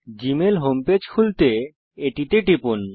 Gmail home page খুলতে এটিতে টিপুন